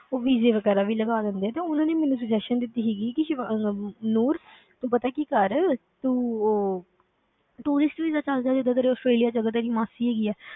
ਉਹ visa ਵਗ਼ੈਰਾ ਵੀ ਲਗਾ ਦਿੰਦੇ ਤੇ ਉਹਨਾਂ ਨੇ ਮੈਨੂੰ suggestion ਦਿੱਤੀ ਸੀਗੀ ਕਿ ਸਿਵਾ~ ਆਹ ਨੂਰ ਤੂੰ ਪਤਾ ਹੈ ਕੀ ਕਰ, ਤੂੰ ਉਹ tourist visa ਚੱਲ ਜਾ ਜਿੱਦਾਂ ਤੇਰੀ ਆਸਟ੍ਰੇਲੀਆ ਵਿੱਚ ਅਗਰ ਤੇਰੀ ਮਾਸੀ ਹੈਗੀ ਹੈ,